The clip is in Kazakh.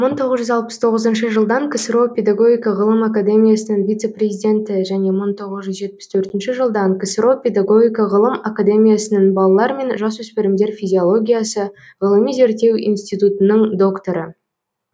мың тоғыз жүз алпыс тоғызыншы жылдан ксро педагогика ғылым акедемиясының вице президенті және мың тоғыз жүз жетпіс төртінші жылдан ксро педагогика ғылым академиясының балалар мен жасөспірімдер физиологиясы ғылыми зерттеу институтының докторы